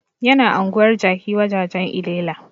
Yana anguwar jaki wajajan llela